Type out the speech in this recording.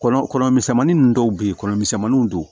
Kɔnɔ kɔnɔ misɛnminni dɔw bɛ ye kɔnɔ misɛnmaninw don